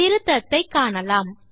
திருத்தத்தை காணலாம்